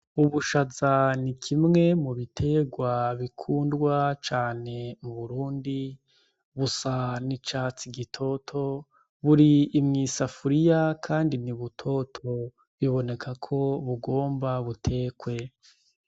Ubushaza n'ikimwe mu biterwa bikundwa cane mu Burundi busa n'icatsi gitoto, buri mw'isafuriya Kandi ni butoto, biboneka ko bigomba butekwe.